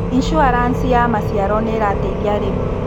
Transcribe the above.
Insuaranci ya maciaro nĩirateithia arĩmi.